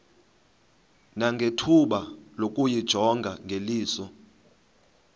nangethuba lokuyijonga ngeliso